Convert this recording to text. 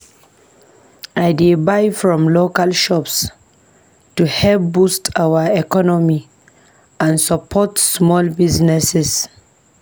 I dey buy from local shops to help boost our economy and support small businesses.